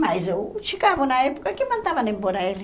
Mas o Chicago, na época, que mandavam embora ele.